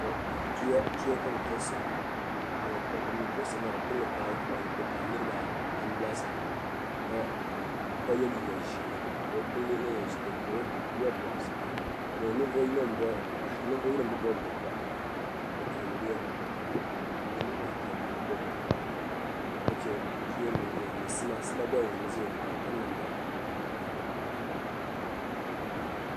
Tuya ka bi pobisiri ŋo bin mii pobisiri maa bi pai niraba anu laasabu ka yɛ liiga ʒiɛ bi puuni niraba ata bi bob bobga ka chɛ sima gba n ʒiya ŋo ka bi piri namda nima